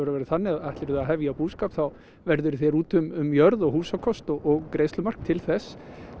verið þannig að ætlir þú að hefja búskap þá verður þú þér út um jörð húsakost og greiðslumark til þess